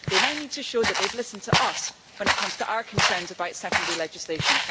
they now need to show that they have listened to us when it comes to our concerns about secondary legislation.